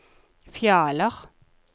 Fjaler